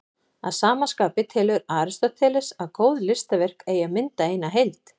Að sama skapi telur Aristóteles að góð listaverk eigi að mynda eina heild.